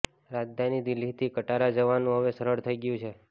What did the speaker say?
રાજધાની દિલ્હીથી કટરા જવાનું હવે સરળ થઈ ગયું છે